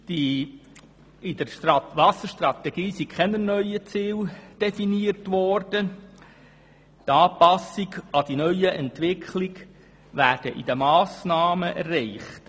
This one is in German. In der Strategie wurden keine neuen Ziele definiert, die Anpassung an die neuen Entwicklungen werden in den Massnahmen erreicht.